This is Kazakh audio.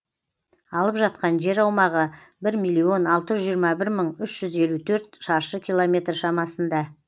алып жатқан жер аумағы бір миллион алты жүз жиырма бір мың үш жүз елу төрт шаршы километр шамасында